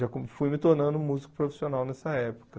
Já com fui me tornando músico profissional nessa época.